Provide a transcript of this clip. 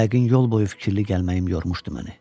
Yəqin yol boyu fikirli gəlməyim yormuşdu məni.